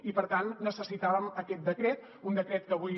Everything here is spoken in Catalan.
i per tant necessitàvem aquest decret un decret que avui